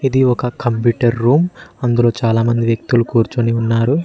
ఇది ఒక computer room అందులో చాలా మంది వ్యక్తులు కూర్చుని ఉన్నారు.